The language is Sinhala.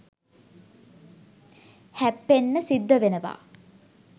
හැප්පෙන්න සිද්ධ වෙනවා.